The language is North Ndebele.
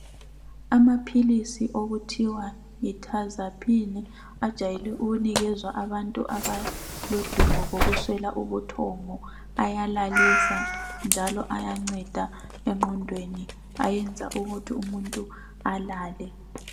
Amaphilisi okuthiwa yi Tazapine ajwayele ukuphiwa abantu abalodubo lokuswela ubuthongo ayalalisa njalo ayanceda engqondweni ayenza ukuthi umuntu alale.